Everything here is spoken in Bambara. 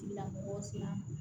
Tigilamɔgɔw sera